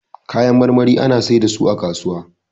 Kayan marmari ana sai da su a kasuwa